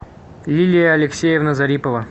лилия алексеевна зарипова